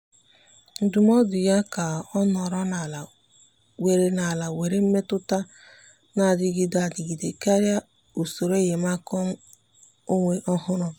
ndụ́mọ́dụ́ yá kà ọ́ nọ́rọ́ n’álá nwere n’álá nwere mmètụ́ta nà-adịgide adịgide kàrị́a usoro enyemaka ọ́nwé ọ́hụ́rụ́.